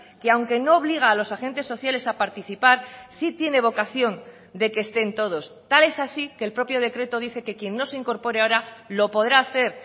que aunque no obliga a los agentes sociales a participar sí tiene vocación de que estén todos tal es así que el propio decreto dice que quien no se incorpore ahora lo podrá hacer